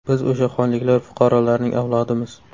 Biz o‘sha xonliklar fuqarolarining avlodimiz.